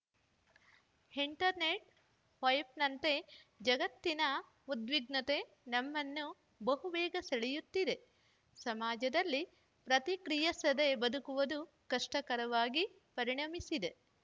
internet ವೈಫೈನಂತೆ ಜಗತ್ತಿನ ಉದ್ವಿಗ್ನತೆ ನಮ್ಮನ್ನು ಬಹುಬೇಗ ಸೆಳೆಯುತ್ತಿದೆ ಸಮಾಜದಲ್ಲಿ ಪ್ರತಿಕ್ರಿಯಿಸದೇ ಬದುಕುವುದು ಕಷ್ಟಕರವಾಗಿ ಪರಿಣಮಿಸಿದೆ